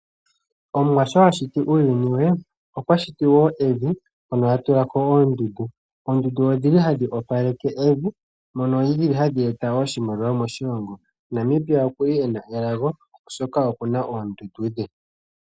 Omuwa sho ashiti uuyuni we okwa shiti wo evi, hono atulako oondundu. Oondundu odhi li hadhi opaleke evi, mono dhi li hadhi eta oshimaliwa moshilongo. Namibia okuna elago oshoka okuna oondundu dhe.